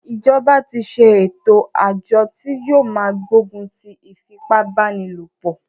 Ìjọba tí ṣe ẹ̀tò àjọ tí yóò máa gbógun ti ìfipábánilòpọ̀.